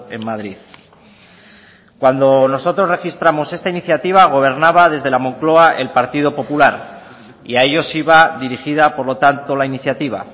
en madrid cuando nosotros registramos esta iniciativa gobernaba desde la mocloa el partido popular y a ellos iba dirigida por lo tanto la iniciativa